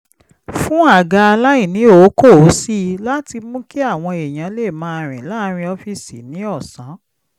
fún àga aláìníòókòó sí i láti mú kí àwọn èèyàn lè máa rìn láàárín ọ́fíìsì ní ọ̀sán